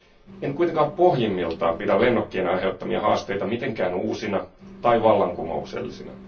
En kuitenkaan pohjimmiltaan pidä lennokkien aiheuttamia haasteita mitenkään uusina tai vallankumouksellisina.